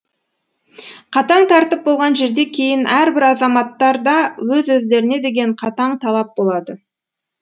қатаң тәртіп болған жерде кейін әрбір азаматтарда өз өздеріне деген қатаң талап болады